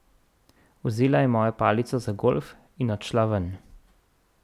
Vzela je mojo palico za golf in odšla ven.